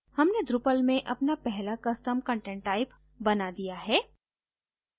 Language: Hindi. हमने drupal में अपना पहला custom content type बना दिया है